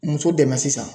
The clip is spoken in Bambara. Muso dɛmɛ sisan